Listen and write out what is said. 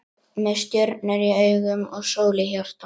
Með stjörnur í augum og sól í hjarta.